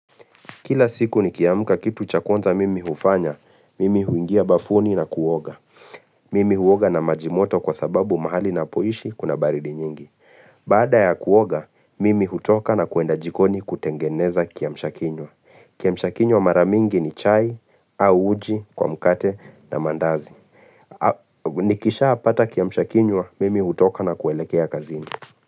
Kila siku nikiamka kitu cha kwanza mimi hufanya, mimi huingia bafuni na kuoga. Mimi huoga na maji moto kwa sababu mahali ninapoishi kuna baridi nyingi. Baada ya kuoga, mimi hutoka na kuenda jikoni kutengeneza kiamsha kinywa. Kiamsha kinywa mara mingi ni chai au uji kwa mkate na mandazi. Nikishapata kiamsha kinywa, mimi hutoka na kuelekea kazini.